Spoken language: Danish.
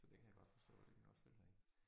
Så det kan jeg godt forstå det kan jeg godt følge dig i